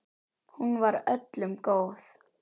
Hún var öllum góð.